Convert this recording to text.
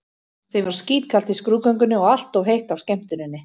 Þeim var skítkalt í skrúðgöngunni og allt of heitt á skemmtuninni.